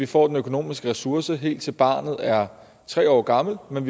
får de økonomiske ressourcer helt til barnet er tre år gammelt men